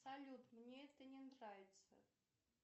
салют мне это не нравится